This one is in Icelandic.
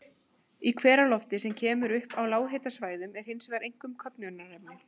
Í hveralofti, sem kemur upp á lághitasvæðunum, er hins vegar einkum köfnunarefni.